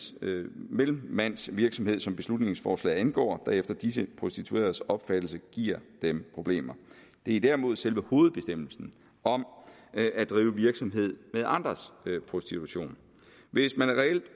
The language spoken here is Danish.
mellemmandsvirksomhed som beslutningsforslaget angår der efter disse prostitueredes opfattelse giver dem problemer det er derimod selve hovedbestemmelsen om at drive virksomhed med andres prostitution hvis man reelt